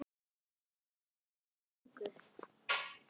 Báðir sungu.